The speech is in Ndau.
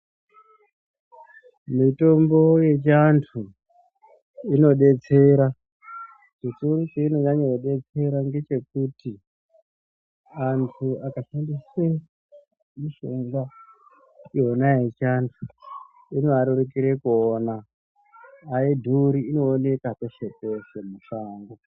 Mitombo yechiantu inodetsera chikuru chainonyanya kudetsera ngechekuti antu akashandisa mishonga yona yechiantu inoarerukira kuiona aidhuri inooneka peshe-peshe mushango.